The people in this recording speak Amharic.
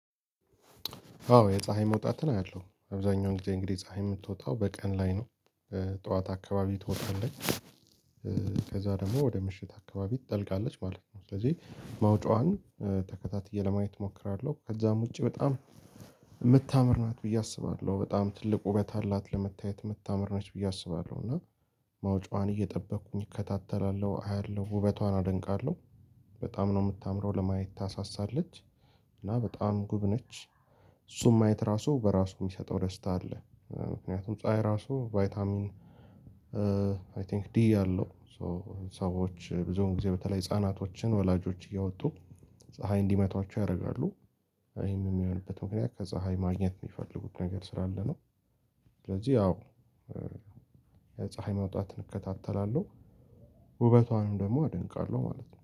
አዎ የፀሀይ መውጣት አያለው አብዛኛው እንግዲህ እንግዲህ ፀሀይ የምትወጣው በቀን ላይ ነው ጠዋት አካባቢ ትወጣለች። ከዛ ደግሞ ወደ ምሽት አካባቢ ትጠልቃለች ማለት ነው። ስለዚህ መውጫዋን ተከታትዬ ለማየት እሞክራለሁ ከዛም ውጪ በጣም የምታምር ናት ብዬ አስባለሁ። በጣም ትልቅ ውበት አላት ለመታየት ምታመር ነች ብዬ አስባለሁ። እና መውጫዋን እየጠበቅኩኝ እከታተላለሁ አያለሁ ውበቷን አደንቃለሁ። በጣም ነው የምታምረው ለማየት ታሳሳለች እና በጣም ውብ ነች። እሱም አይተራሱ በራሱ የሚሰጠው ደስታ አለ። ምክንያቱም ፀሀይ ራሱ ቫይታሚን አይ ቲንክ ዲ አለው። ሰዎች ብዙውን ጊዜ በተለይ ህፃናቶችን ወላጆች እያወጡ ፀሀይ እንዲመቷቸው ያደርጋሉ። ይሄንም የሚሆንበት ምክንያት ከፀሀይ ማግኘት የሚፈልጉት ነገር ስራ አለ ነው። ስለዚህ አዎ የፀሀይ መውጣት እከታተላለሁ ውበቷንም ደግሞ አደንቃለሁ ማለት ነው